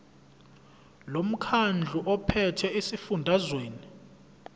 lomkhandlu ophethe esifundazweni